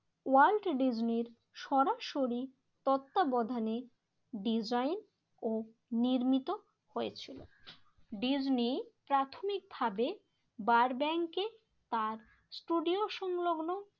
World ডিজনির সরাসরি তত্ত্বাবধানে ডিজাইন ও নির্মিত হয়েছিল। ডিজনি প্রাথমিকভাবে বার ব্যাংকে তার ষ্টুডিও সংলগ্ন